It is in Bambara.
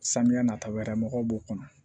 Samiya nata wɛrɛ mɔgɔw b'o kɔnɔ